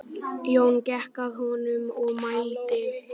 Jón gekk að honum og mælti